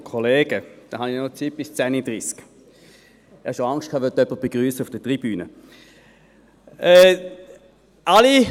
Ich befürchtete schon, der Vizepräsident wolle noch jemanden auf der Tribüne begrüssen.